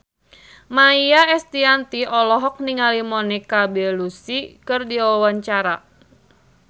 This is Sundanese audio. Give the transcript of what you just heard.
Maia Estianty olohok ningali Monica Belluci keur diwawancara